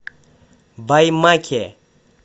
баймаке